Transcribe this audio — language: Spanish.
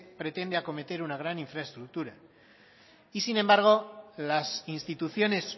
pretende acometer una gran infraestructura y sin embargo las instituciones